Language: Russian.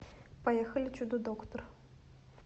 поехали чудо доктор